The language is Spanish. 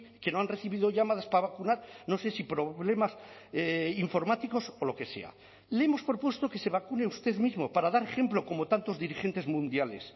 que no han recibido llamadas para vacunar no sé si problemas informáticos o lo que sea le hemos propuesto que se vacune usted mismo para dar ejemplo como tantos dirigentes mundiales